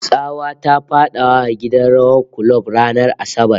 Tsawa ta fada gidan rawar kulob ranar Asabar